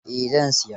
Eh, zan siya.